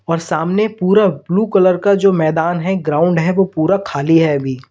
और सामने पूरा ब्लू कलर का जो मैदान है ग्राउंड है वो पूरा खाली है अभी।